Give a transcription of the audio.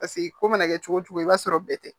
Paseke ko mana kɛ cogo cogo i b'a sɔrɔ bɛɛ tɛ